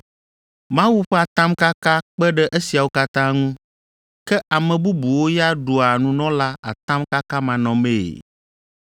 Mawu ƒe atamkaka kpe ɖe esiawo katã ŋu, ke ame bubuwo ya ɖua nunɔla atamkakamanɔmee,